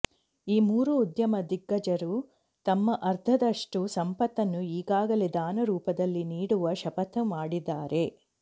ಈ ಮೂರೂ ಉದ್ಯಮ ದಿಗ್ಗಜರು ತಮ್ಮ ಅರ್ಧದಷ್ಟು ಸಂಪತ್ತನ್ನು ಈಗಾಗಲೇ ದಾನರೂಪದಲ್ಲಿ ನೀಡುವ ಶಪಥ ಮಾಡಿದ್ದಾರೆ